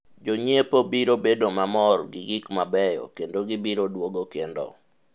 jonyiepo biro bedo mamor gi gik mabeyo kendo gibiro duogo kendo